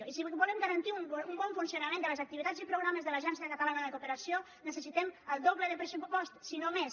i si volem garantir un bon funcionament de les activitats i programes de l’agència catalana de cooperació necessitem el doble de pressupost si no més